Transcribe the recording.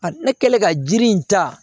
A ne kɛlen ka jiri in ta